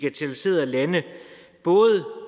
ordet